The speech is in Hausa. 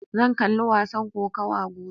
Zan kalli wasan kokawa gobe.